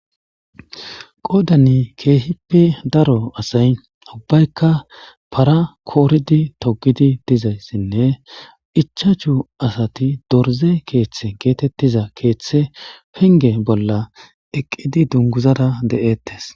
Qodanne kehippe daro asayi ubbayikka para koriddi togidi dizayissanne ichachchu asati dorizze keththi getettiza keththe penigge bolla eqidi duniguzara eqidi de'etrs.